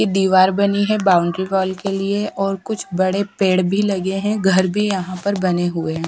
दिवार बनी है बाउंड्री वॉल के लिए और कुछ बड़े पेड़ भी लगे हैं घर भी यहां पर बने हुए हैं।